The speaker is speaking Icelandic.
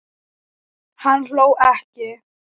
Hann hló ekki.